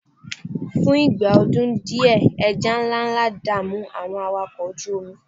fún ìgbà ọdún diẹ eja nlánlá da'mu àwọn awakọ oju omi